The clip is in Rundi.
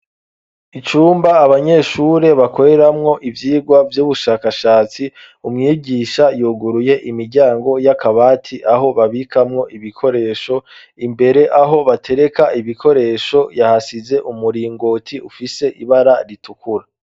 Icumba abanyeshuri bakoreramwo ivyigwa vy'ubushakashatsi, umwigisha yuguruye imiryango y'akabati, aho babikamwo ibikoresho. Imbere aho batereka ibikoresho yahasize umuringoti ufise ibara ritukura.